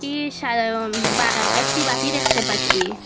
কি সাদা রং বা এ একটি বাটি দেখতে পাচ্ছি।